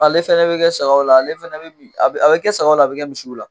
Ale fana bɛ kɛ sagaw la ale fɛnɛ bɛ min a bɛ kɛ sagaw la a bɛ kɛ misiw la